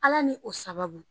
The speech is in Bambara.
Ala ni o sababu.